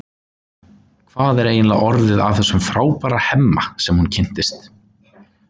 Hvað er eiginlega orðið af þessum frábæra Hemma sem hún kynntist?